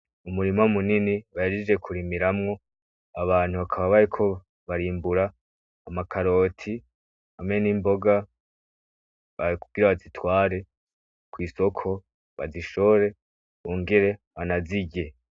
Umurima munini, bahejeje kurimiramwo, abantu bakaba bariko barimbura amakaroti, hamwe n'imboga , kugira bazitware kw'isoko bazishore, bongere banazirye.